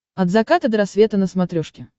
от заката до рассвета на смотрешке